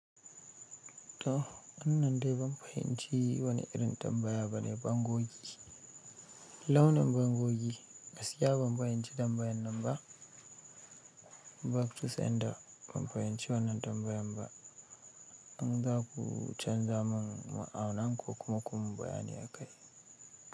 To, wannan dai ban fahimci wane irin tambaya ne, ban gogeshi launin bangogi, gaskiya ban fahimci tambayar nan ba. Back to sender ban fahimci wannan tambayan ba. In za ku canza mun a wannan ko kuma ku yimin bayani a kai.